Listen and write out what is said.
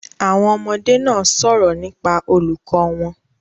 Àwon ọmọdé náà sòrò nípa olùkó won